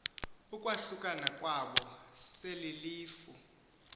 ukwahlukana kwabo selelilifu